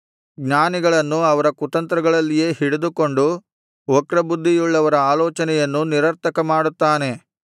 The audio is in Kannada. ಜ್ಞಾನಿಗಳನ್ನು ಅವರ ತಂತ್ರಗಳಲ್ಲಿಯೇ ಹಿಡಿದುಕೊಂಡು ವಕ್ರಬುದ್ಧಿಯುಳ್ಳವರ ಆಲೋಚನೆಯನ್ನು ನಿರರ್ಥಕ ಮಾಡುತ್ತಾನೆ